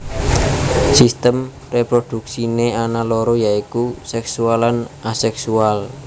Sistem réprodhuksiné ana loro ya iku séksual lan aséksual